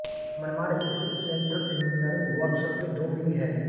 मनमाड स्थित central engineering workshop के दो विंग हैं